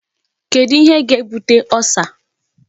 Kedu ihe ga-ebute Ulcer?